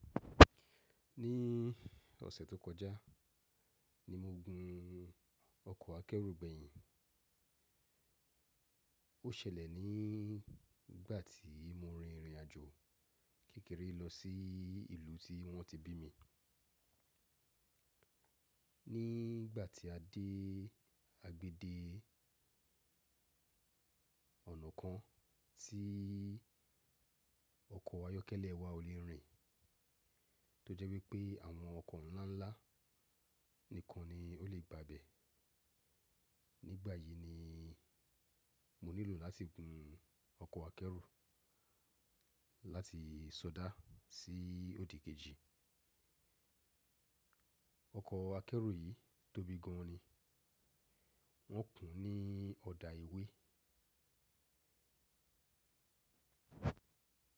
Ní ọ̀sẹ̀ tó kọjá ni mo gun ọkọ̀ akẹ́rù gbẹ̀yìn. Ó ṣẹlẹ̀ ní igbà tí mo rin ìrìn àjò kékeré lọ sí ìlú tí wọ́n ti bí mi. Nígbà tí a dé agbede ọ̀nà kan tí ọkọ̀ ayọ́kẹ́lẹ́ wa ò le rìn, tó jẹ́ wípé àwọn ọkọ̀ ńláńlá nìkan ni ó le bà bẹ́. Nígbà yì ni mo nílò láti gun ọkọ̀ akẹ́rù láti sọdá sí òdì kejì Ọkọ̀ akẹ́rù yìí tóbi gan-an ni, wọ́n kùn ún ní ọ̀dà èwe.